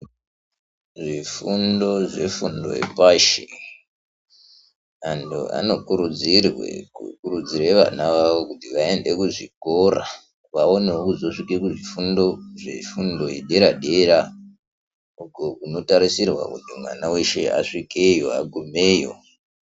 Zvifundo zvefundo yepashi andu anokurudzirwe kukurudzire vana vavo kuti vaende kuzvikora kuti vaonewo kuzosvika kuzvifundo zvefundo yedera dera uku kunotarisirwe kuti mwana wese asvikeyo agumeyo.